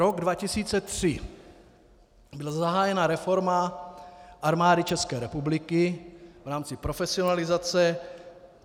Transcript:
Rok 2003, byla zahájena reforma Armády České republiky v rámci profesionalizace.